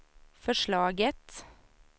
förslaget